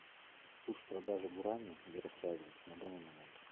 курс продажи гуарани в ярославле на данный момент